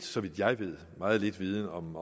så vidt jeg ved meget lidt viden om